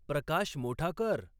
प्रकाश मोठा कर